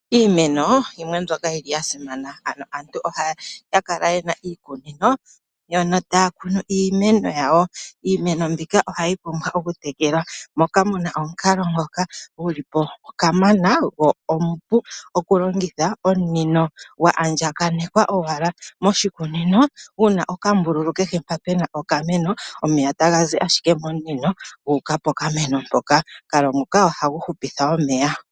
Iineno oyo yimwe mbyoka yi li ya simana, ano aantu ohaya kala yena iikunino mbyono taya kunu iimeno yawo. Iimeno mbika ohayi okutekelwa, moka muna omukalo ngoka gulipo kamana go omupu okulongitha. Omunino gwa andjakanekwa owala moshikunino guna okambululu keli mpoka pena okameno, omeya taga zi ashike momunino gu uka pokameno mpoka. Omukalo nguka ohagu hupitha omeya.